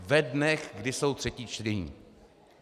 Ve dnech, kdy jsou třetí čtení.